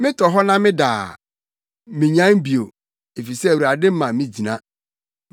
Metɔ hɔ na meda a, minyan bio, efisɛ Awurade ma migyina.